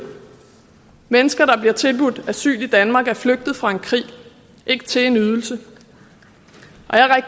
mennesker der bliver tilbudt asyl i danmark er flygtet fra en krig ikke til en ydelse